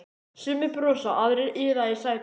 Sumir brosa, aðrir iða í sætunum.